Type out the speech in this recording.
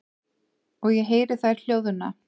Og ég heyri þær hljóðna.